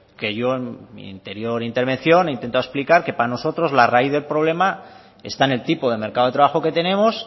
que yo en mi interior intervención he intentado explicar que para nosotros la raíz del problema está en el tipo de mercado de trabajo que tenemos